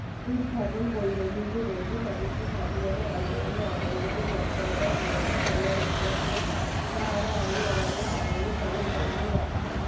উত্থাপন করিলেন কিন্তু স্বাধীনতার আন্দোলনের অগ্রগতির মন্থরটাই বিরক্ত হইয়া উঠিয়াছিলেন তাহার আইন অমান্য সুম্পূর্ণ বন্ধ রাখা